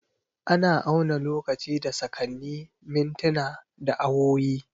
Ana auna lokaci da sakanni, mintina, da awowi.